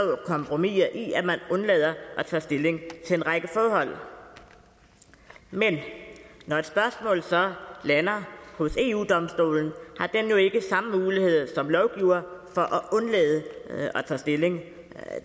kompromiser i at man undlader at tage stilling til en række forhold men når et spørgsmål så lander hos eu domstolen har den jo ikke samme mulighed som lovgiver for at undlade at tage stilling